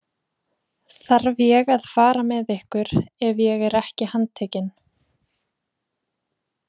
Þarf ég að fara með ykkur ef ég er ekki handtekinn?